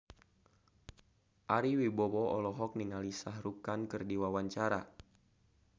Ari Wibowo olohok ningali Shah Rukh Khan keur diwawancara